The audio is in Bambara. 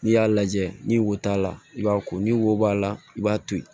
N'i y'a lajɛ ni wo t'a la i b'a ko ni wo b'a la i b'a to ye